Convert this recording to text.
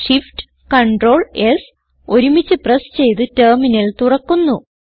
Shift Ctrl S ഒരുമിച്ച് press ചെയ്ത് terminal തുറക്കുന്നു